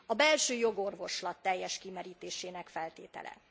A belső jogorvoslat teljes kimerítésének feltétele.